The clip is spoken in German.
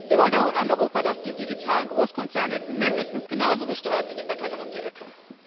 Wir wollen auch ein Europa, das die digitalen Großkonzerne mindestens genauso besteuert wie die Bäckerin um die Ecke.